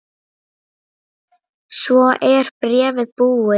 Svo er bréfið búið